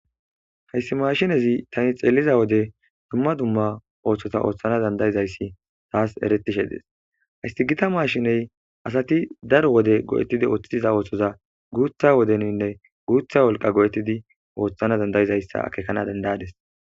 hayssi mashinezi tani xeeliza wode dumma dumma ooththota ooththana dandayizayssi taas eretishe dees hayssi gita maashiney asati daro wode go7ettidi ooththitiza ooththoza guutha wodeninne guutha wolqa go7ettidi ooththana dandayizayssa akekana dandaades